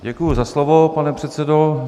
Děkuji za slovo, pane předsedo.